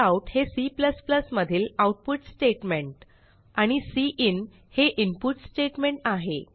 cout हे C मधील output statement आणि सिन हे इनपुट स्टेटमेंट आहे